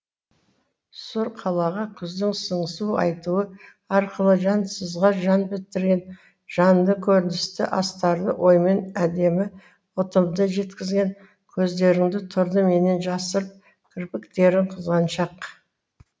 сұр қалаға күздің сыңсу айтуы арқылы жансызға жан бітірген жанды көріністі астарлы оймен әдемі ұтымды жеткізген көздеріңді тұрды менен жасырып кірпіктерің қызғаншақ